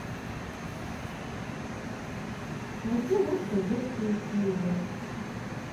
найти лучшие детские фильмы